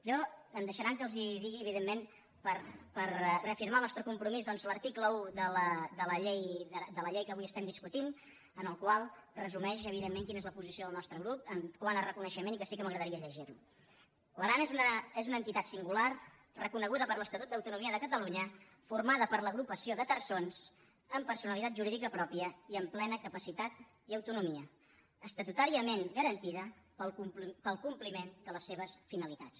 a mi em deixaran que els digui evidentment per reafirmar el nostre compromís doncs l’article un de la llei que avui estem discutint el qual resumeix quina és la posició del nostre grup quant a reconeixement i que sí que m’agradaria llegir lo l’aran és una entitat singular reconeguda per l’estatut d’autonomia de catalunya formada per l’agrupació de terçons amb personalitat jurídica pròpia i amb plena capacitat i autonomia estatutàriament garantida per al compliment de les seves finalitats